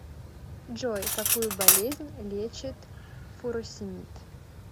джой какую болезнь лечит фуросемид